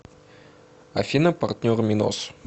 афина партнер минос